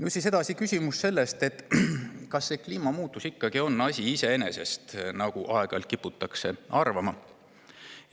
Edasi on küsimus, kas kliimamuutus ikkagi on asi iseeneses, nagu aeg-ajalt kiputakse arvama.